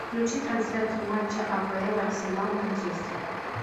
включи трансляцию матча апл арсенал манчестер